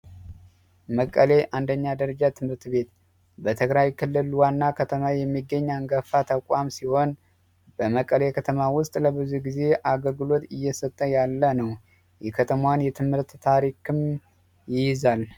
መቀሌ አንደኛ ደረጃ ትምህርት ቤት በትግራይ ክልል ዋና ከተማ የሚገኝ አንገፋ ተቋም ሲሆን በመቀሌ ከተማ ውስጥ ለብዙ ጊዜ አገልግሎት እየሰጠ ያለ ነው። የከተማን የትምህርት ታሪክም ይይዛል።